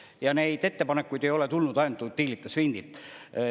Ja neid ettepanekuid ei ole tulnud ainult Utilitas Windilt.